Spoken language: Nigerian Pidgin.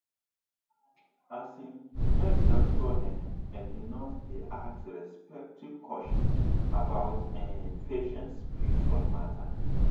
asin make doctor[um]and nurse dey ask respectful question about[um]patient spiritual matter.